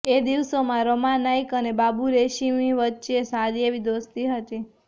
એ દિવસોમાં રમા નાઈક અને બાબુ રેશિમ વચ્ચે સારી એવી દોસ્તી હતી